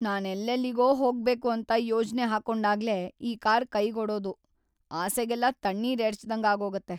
ನಾನೆಲ್ಲೆಲ್ಲಿಗೋ ಹೋಗ್ಬೇಕು ಅಂತ ಯೋಜ್ನೆ ಹಾಕೊಂಡಾಗ್ಲೇ ಈ ಕಾರ್‌ ಕೈಕೊಡೋದು ಆಸೆಗೆಲ್ಲ ತಣ್ಣೀರ್‌ ಎರೆಚ್ದಂಗಾಗೋಗತ್ತೆ.